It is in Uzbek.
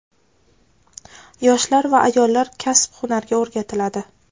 yoshlar va ayollar kasb-hunarga o‘rgatiladi.